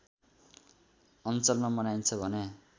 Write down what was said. अञ्चलमा मनाइन्छन् भने